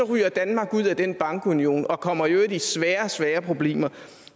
ryger danmark ud af den bankunion og kommer i øvrigt i svære svære problemer